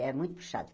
É muito puxado.